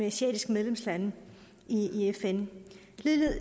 asiatiske medlemslande i i fn